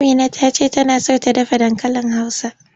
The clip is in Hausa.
Amina ta ce tana so ta dafa dankalin Hausa.